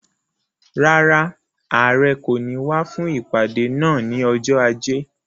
Rárá, Àrẹ kò ní wá fún ìpàdé náà ni ọjọ́ ajé.